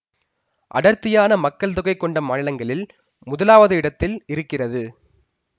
அடர்த்தியான மக்கள் தொகை கொண்ட மாநிலங்களில் முதலாவது இடத்தில் இருக்கிறது